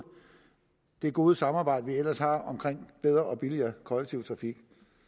det gode samarbejde vi ellers har omkring bedre og billigere kollektiv trafik